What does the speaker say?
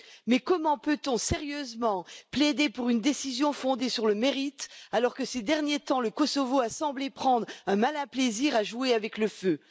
Mais comment peut on sérieusement plaider pour une décision fondée sur le mérite alors que, ces derniers temps, le Kosovo a semblé prendre un malin plaisir à jouer avec le feu?